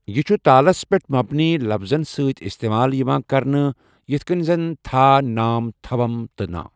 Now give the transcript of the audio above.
یہِ چھُ تالَس پٮ۪ٹھ مبنی لفزَن سۭتۍ استعمال یِوان کرنہٕ، یِتھ کٔنۍ زَن تھا، نام، تھوم تہٕ نا۔